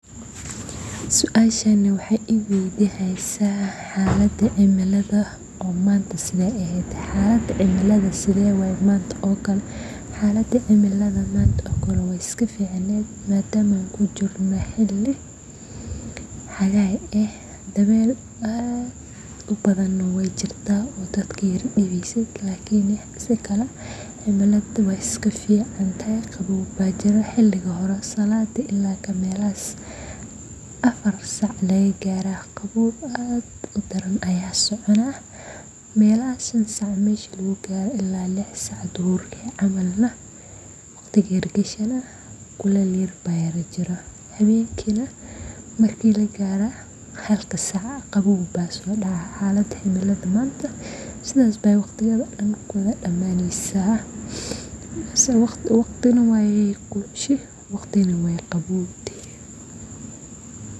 xalada cimiladha sedhewaye manta oo kale